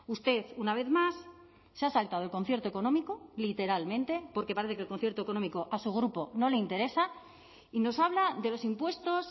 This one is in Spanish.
usted una vez más se ha saltado el concierto económico literalmente porque parece que el concierto económico a su grupo no le interesa y nos habla de los impuestos